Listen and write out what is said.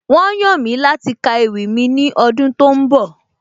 Wọ́n yàn mí láti ka ewì mi ní ọdún tó ń bọ̀